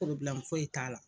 foyi t'a la.